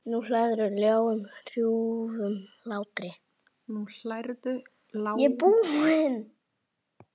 Nú hlærðu, lágum hrjúfum hlátri.